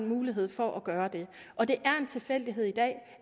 mulighed for at gøre og det er en tilfældighed i dag